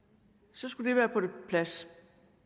så skulle det være på plads